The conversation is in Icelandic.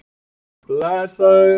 Þær já. jú ég held að.